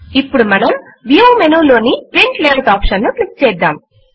ఇప్పుడు మనం view menu లోని ప్రింట్ లేఆఉట్ ఆప్షన్ ను క్లిక్ చేద్దాం